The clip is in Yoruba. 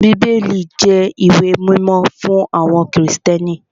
Bíbélì jẹ́ ìwé mímọ́ fún àwọn Krìstẹ́nì